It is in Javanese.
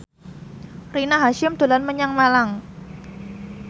Rina Hasyim dolan menyang Malang